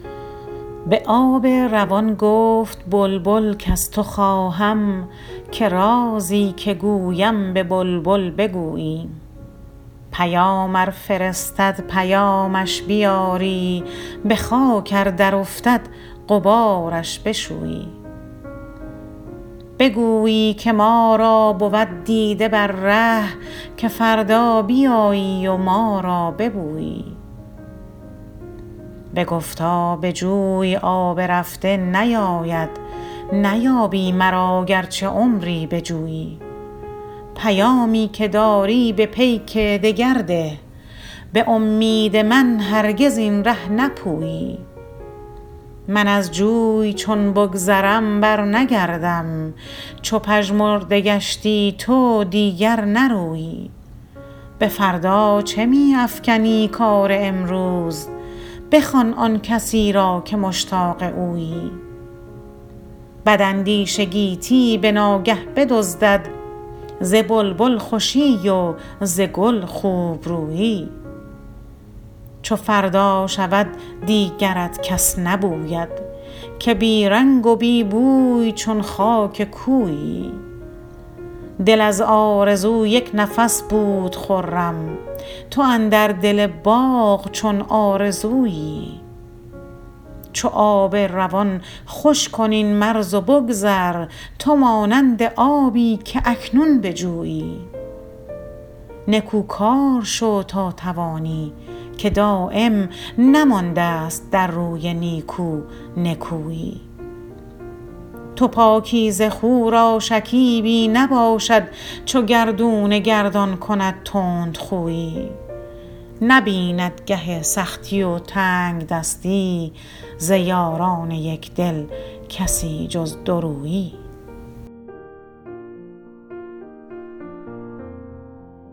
به آب روان گفت گل کز تو خواهم که رازی که گویم به بلبل بگویی پیام ار فرستد پیامش بیاری بخاک ار درافتد غبارش بشویی بگویی که ما را بود دیده بر ره که فردا بیایی و ما را ببویی بگفتا به جوی آب رفته نیاید نیابی مرا گرچه عمری بجویی پیامی که داری به پیک دگر ده بامید من هرگز این ره نپویی من از جوی چون بگذرم برنگردم چو پژمرده گشتی تو دیگر نرویی بفردا چه میافکنی کار امروز بخوان آنکسی را که مشتاق اویی بد اندیشه گیتی بناگه بدزدد ز بلبل خوشی و ز گل خوبرویی چو فردا شود دیگرت کس نبوید که بی رنگ و بی بوی چون خاک کویی دل از آرزو یکنفس بود خرم تو اندر دل باغ چون آرزویی چو آب روان خوش کن این مرز و بگذر تو مانند آبی که اکنون به جویی نکو کار شو تا توانی که دایم نمانداست در روی نیکو نکویی تو پاکیزه خو را شکیبی نباشد چو گردون گردان کند تندخویی نبیند گه سختی و تنگدستی ز یاران یکدل کسی جز دورویی